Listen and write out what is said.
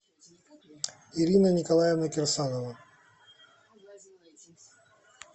ирина николаевна кирсанова